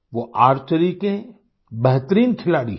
वो आर्चरी के बेहतरीन खिलाड़ी हैं